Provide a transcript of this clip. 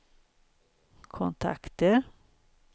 kontakter